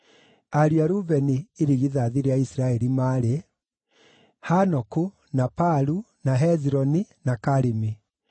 ariũ a Rubeni, irigithathi rĩa Isiraeli, maarĩ: Hanoku, na Palu, na Hezironi, na Karimi.